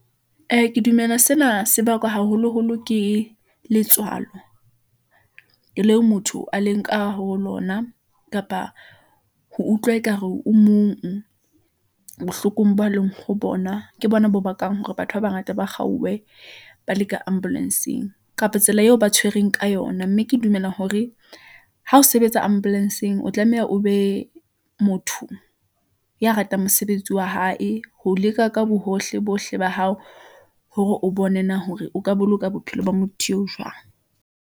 Ee, ke dumela sena se bakwa haholoholo ke letswalo , leo motho a leng ka ho lona kapa ho utlwa ekare o mong bohlokong bo leng ho bona. Ke bona bo bakang hore batho ba bangata ba kgaowe ba le ka ambulence-eng , kapa tsela eo ba tshwereng ka yona, mme ke dumela hore ha o sebetsa ambulence-eng, o tlameha o be motho ya ratang mosebetsi wa hae, ho leka ka bohohle bohle ba hao , hore o bona hore o ka boloka bophelo ba motho eo jwang.